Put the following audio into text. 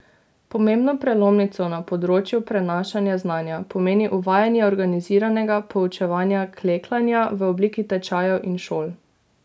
Pomembno prelomnico na področju prenašanja znanja pomeni uvajanje organiziranega poučevanja klekljanja v obliki tečajev in šol.